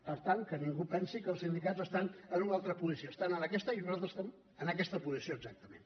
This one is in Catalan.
per tant que ningú pensi que els sindicats estan en una altra posició estan en aquesta i nosaltres estem en aquesta posició exactament